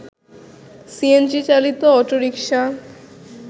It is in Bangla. সিএনজি চালিত অটোরিকশা